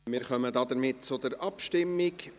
Wir kommen damit zur Abstimmung.